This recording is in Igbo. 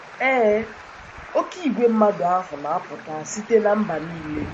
Ee, oké igwe mmadụ ahụ na - apụta site ‘ ná mba nile. ’